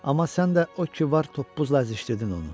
Amma sən də o ki var toppuzla əzişdirdin onu.